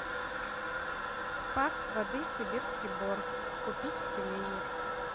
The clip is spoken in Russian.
пак воды сибирский бор купить в тюмени